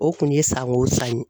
O kun ye sanko wo san ye.